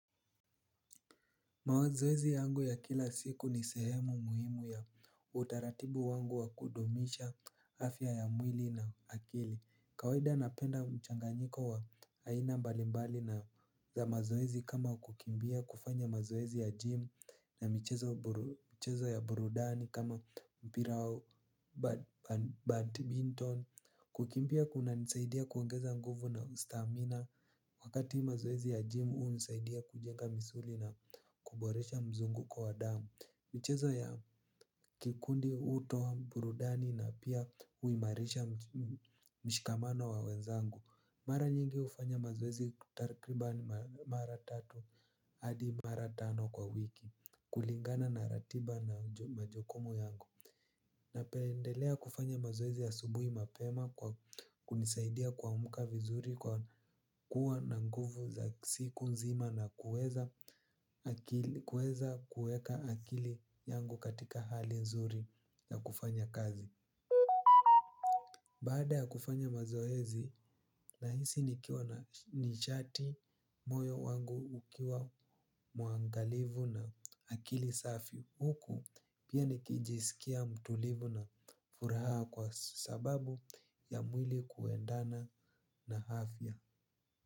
Mazoezi yangu ya kila siku ni sehemu muhimu ya utaratibu wangu wa kudumisha afya ya mwili na akili. Kawaida napenda mchanganyiko wa aina mbalimbali na za mazoezi kama kukimbia kufanya mazoezi ya jimu na mchezo ya burudani kama mpira au badminton. Kukimbia kuna nisaidia kuongeza nguvu na stamina. Wakati mazoezi ya jimu hu nisaidia kujenga misuli na kuboresha mzunguko wa damu. Michezo ya kikundi uto, burudani na pia uimarisha mshikamano wa wenzangu. Mara nyingi hufanya mazoezi kutakribani mara tatu hadi mara tano kwa wiki. Kulingana na ratiba na majukumu yangu napendelea kufanya mazoezi asubui mapema kwa kunisaidia kuamka vizuri kwa kuwa na nguvu za siku nzima na kueza kueka akili yangu katika hali nzuri na kufanya kazi. Baada ya kufanya mazoezi, nahisi nikiwa na nichati moyo wangu ukiwa muangalivu na akili safi. Huku pia nikijisikia mtulivu na furaha kwa sababu ya mwili kuendana na afya.